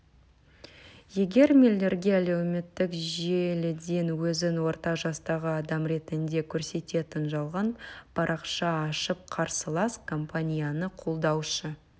егер миллерге әлеуметтік желіден өзін орта жастағы адам ретінде көрсететін жалған парақша ашып қарсылас компанияны қолдаушы